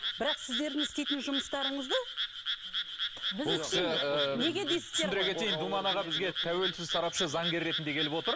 бірақ сіздердің істейтін жұмыстарыңызды неге дейсіздер түсіндіре кетейін думан аға бізге тәуелсіз сарапшы заңгер ретінде келіп отыр